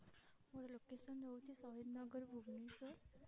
ମୋର location ହଉଛି ସହିଦ ନଗର ଭୁବନେଶ୍ଵର।